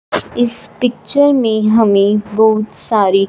इस पिक्चर में हमें बहुत सारी--